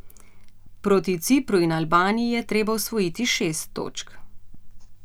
Proti Cipru in Albaniji je treba osvojiti šest točk.